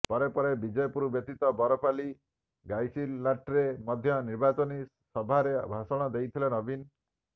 ପରେ ପରେ ବିଜେପୁର ବ୍ୟତୀତ ବରପାଲି ଗାଇସିଲାଟ୍ରେ ମଧ୍ୟ ନିର୍ବାଚନୀ ସଭାେର ଭାଷଣ ଦେଇଥିଲେ ନବୀନ